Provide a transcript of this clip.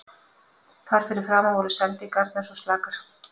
Þar fyrir framan voru sendingarnar svo slakar.